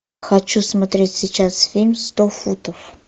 хочу смотреть сейчас фильм сто футов